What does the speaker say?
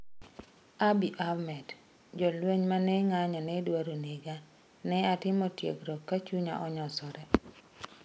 Abiy Ahmed: Jolweny ma ne ng'anyo ne dwaro nega, ne atimo tiegruok ka chunya onyosore